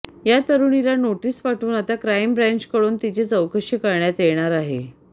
या तरुणीला नोटीस पाठवून आता क्राईम ब्रँचकडून तिची चौकशी करण्यात येणार आहे